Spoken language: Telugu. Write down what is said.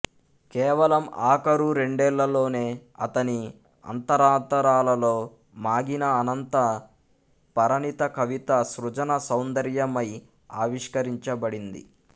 కేవలం ఆఖరు రెండేళ్లలోనే ఆతని అంతరాంతరాలలో మాగిన అనంత పరణిత కవిత సృజన సౌందర్యమై ఆవిష్కరించబడింది